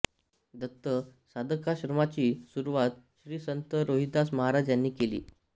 दत्त साधकाश्रमाची सुरुवात श्री संत रोहिदास महाराज यांनी केली